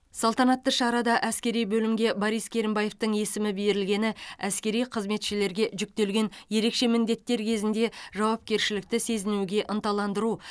салтанатты шарада әскери бөлімге борис керімбаевтің есімі берілгені әскери қызметшілерге жүктелген ерекше міндеттер кезінде жауапкершілікті сезінуге ынталандыру